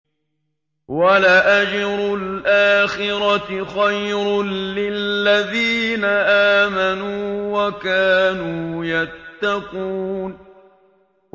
وَلَأَجْرُ الْآخِرَةِ خَيْرٌ لِّلَّذِينَ آمَنُوا وَكَانُوا يَتَّقُونَ